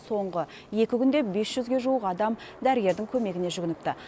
соңғы екі күнде бес жүзге жуық адам дәрігердің көмегіне жүгініпті